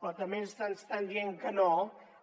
però també ens estan dient que no